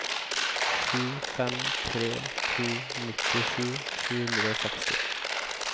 sju fem tre to nittisju sju hundre og seksti